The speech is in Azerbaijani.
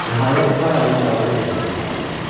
Nəhayət, sağ əlini qaldırıb yaxasına apardı.